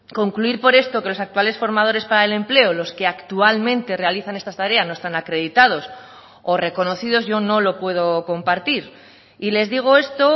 concluir por esto que los actuales formadores para el empleo los que actualmente realizan estas tareas no están acreditados o reconocidos yo no lo puedo compartir y les digo esto